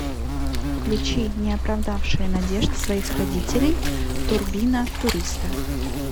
включи не оправдавшие надежд своих родителей турбина туриста